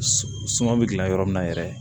Suman bɛ gilan yɔrɔ min na yɛrɛ